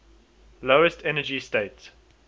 lowest energy state